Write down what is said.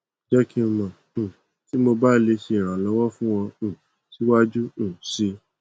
jẹ ki n mọ um ti mo ba le ṣe iranlọwọ fun ọ um siwaju um sii